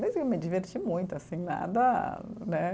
Mas eu me diverti muito, assim, nada, né?